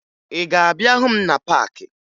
Ị ga-abịa hụ m na paakị?